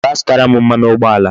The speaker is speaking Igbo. Gaa zụtara m mmanụ ụgbọala